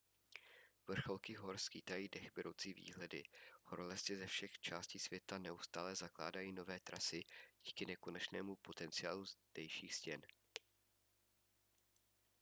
vrcholky hor skýtají dechberoucí výhledy horolezci ze všech částí světa neustále zakládají nové trasy díky nekonečnému potenciálu zdejších stěn